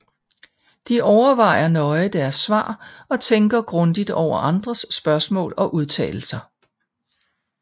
De overvejer nøje deres svar og tænker grundigt over andres spørgsmål og udtalelser